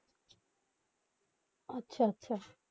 আচ্ছা আচ্ছা